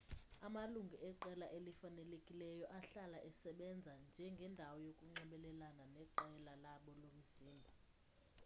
amalungu eqela elifanelekileyo ahlala esebenza njengendawo yokunxibelelana neqela labo lomzimba